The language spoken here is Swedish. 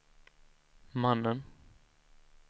mannen